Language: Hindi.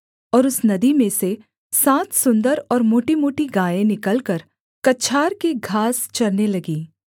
और उस नदी में से सात सुन्दर और मोटीमोटी गायें निकलकर कछार की घास चरने लगीं